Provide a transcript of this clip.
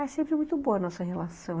É sempre muito boa a nossa relação.